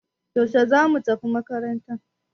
Yaushe zamu tafi makaranta?